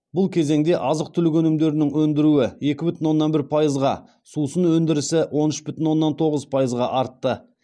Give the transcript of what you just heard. бұл кезеңде азық түлік өнімдерінің өндіруі екі бүтін оннан бір пайызға сусын өндірісі он үш бүтін оннан тоғыз пайызға артты